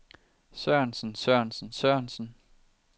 sørensen sørensen sørensen